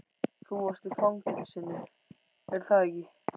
Þú varst í fangelsinu, er það ekki?